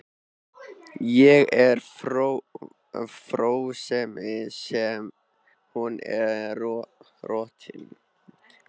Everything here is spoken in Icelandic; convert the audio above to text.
Ég er frjósemi en hún er rotnun.